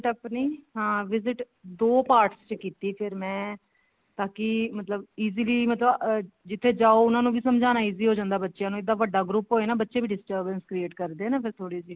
ਆਪਣੀ ਹਾਂ visit ਦੋ part ਚ ਕੀਤੀ ਫ਼ੇਰ ਮੈਂ ਤਾਂਕਿ ਮਤਲਬ easily ਮਤਲਬ ਜਿੱਥੇ ਜਾਓ ਉਹਨਾ ਨੂੰ ਵੀ ਸਮਜਾਉਣਾ easy ਹੋ ਜਾਂਦਾ ਬਚਿਆਂ ਨੂੰ ਵੱਡਾ group ਹੋਏ ਨੇ ਬੱਚੇ ਵੀ disturbance create ਕਰਦੇ ਨੇ ਨਾ ਥੋੜੀ ਜੀ